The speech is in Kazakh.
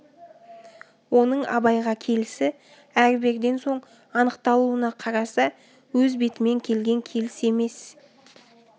оның абайға келісі әр-берден соң анықталуына қараса өз бетімен келген келіс емес